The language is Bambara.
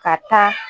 Ka taa